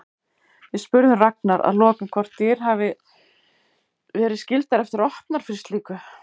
Við spurðum Ragnar að lokum hvort dyr hafi verið skyldar eftir opnar fyrir slíku?